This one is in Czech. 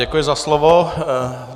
Děkuji za slovo.